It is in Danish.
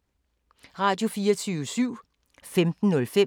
Radio24syv